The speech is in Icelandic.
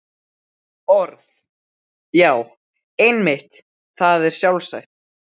Orð.- Já, einmitt, það er sjálfsagt.